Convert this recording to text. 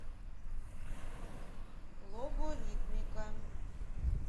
логоритмика